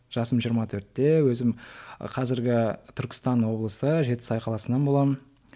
жасым жиырма төртте өзім қазіргі түркістан облысы жетісай қаласынан боламын